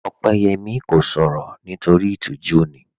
Opeyẹmi kò sọ̀rọ̀ nítorí itíjú ni